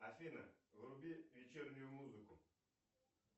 афина вруби вечернюю музыку